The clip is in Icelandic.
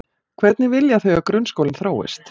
Hvernig vilja þau að grunnskólinn þróist?